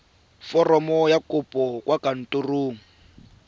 foromo ya kopo kwa kantorong